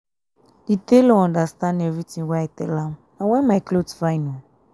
the tailor understand everything wey i tell am na why my cloth fine